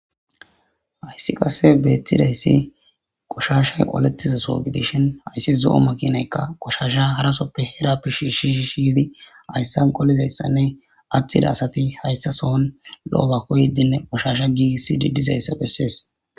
Hayssi qasse beetthida hyssi qoshashay olettiza soogidishhin hayssi zo7o makinaykka qoshasha harasoppe heera pish shish shiydi ayssan qolizayssanne atthida asati hayssa sohon lo7o bakko yeddinne qoshasha gii sii dizayssa bessees